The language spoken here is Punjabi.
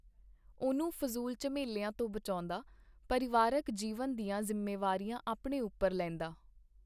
ਉਹਨੂੰ ਫਜ਼ੂਲ ਝਮੇਲਿਆਂ ਤੋਂ ਬਚਾਹੁੰਦਾ, ਪਰਿਵਾਰਕ ਜੀਵਨ ਦੀਆਂ ਜ਼ਿੰਮੇਵਾਰੀਆਂ ਆਪਣੇ ਉੱਪਰ ਲੈਂਦਾ.